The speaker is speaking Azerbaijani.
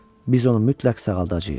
Biz onu mütləq sağaldacağıq.